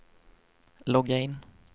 logga in